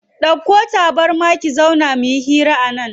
Dauko tabarma mu zauna muyi hira a nan.